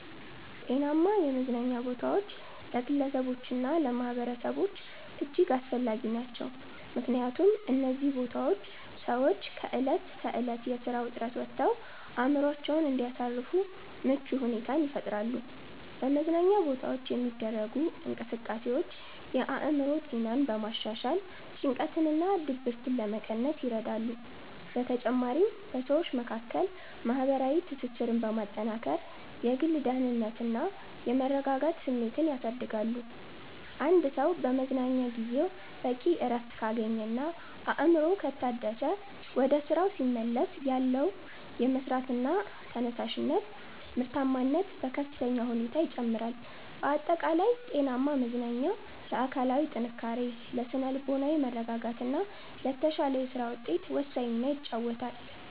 ጤናማ የመዝናኛ ቦታዎች ለግለሰቦችና ለማኅበረሰቦች እጅግ አስፈላጊ ናቸው። ምክንያቱም እነዚህ ቦታዎች ሰዎች ከዕለት ተዕለት የሥራ ውጥረት ወጥተው አእምሮአቸውን እንዲያሳርፉ ምቹ ሁኔታን ይፈጥራሉ። በመዝናኛ ቦታዎች የሚደረጉ እንቅስቃሴዎች የአእምሮ ጤናን በማሻሻል ጭንቀትንና ድብርትን ለመቀነስ ይረዳሉ። በተጨማሪም በሰዎች መካከል ማህበራዊ ትስስርን በማጠናከር የግል ደህንነትና የመረጋጋት ስሜትን ያሳድጋሉ። አንድ ሰው በመዝናኛ ጊዜው በቂ እረፍት ካገኘና አእምሮው ከታደሰ፣ ወደ ሥራው ሲመለስ ያለው የመሥራት ተነሳሽነትና ምርታማነት በከፍተኛ ሁኔታ ይጨምራል። ባጠቃላይ ጤናማ መዝናኛ ለአካላዊ ጥንካሬ፣ ለሥነ-ልቦናዊ መረጋጋትና ለተሻለ የሥራ ውጤት ወሳኝ ሚና ይጫወታል።